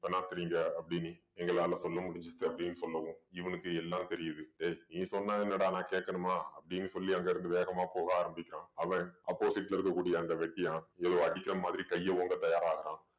பினாத்துறீங்க அப்படின்னு எங்களால சொல்ல முடிஞ்சது அப்படின்னு சொல்லவும் இவனுக்கு எல்லாம் தெரியுது டேய் நீ சொன்னா என்னடா நான் கேட்கணுமா அப்படின்னு சொல்லி அங்கிருந்து வேகமா போக ஆரம்பிக்கிறான் அவன் opposite ல இருக்கக்கூடிய அந்த வெட்டியான் ஏதோ அடிக்கிற மாதிரி கையை ஓங்க தயாராகுறான்